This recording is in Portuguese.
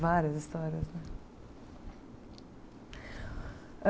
Várias histórias, né?